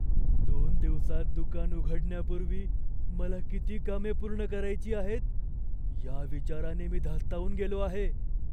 दोन दिवसांत दुकान उघडण्यापूर्वी मला किती कामे पूर्ण करायची आहेत, या विचाराने मी धास्तावून गेलो आहे.